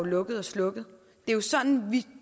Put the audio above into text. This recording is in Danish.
lukket og slukket det er sådan vi